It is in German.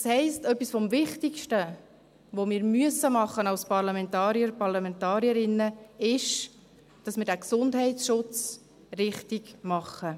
Das heisst, etwas vom Wichtigsten, das wir als Parlamentarier und Parlamentarierinnen tun müssen, ist, dass wir den Gesundheitsschutz richtig machen.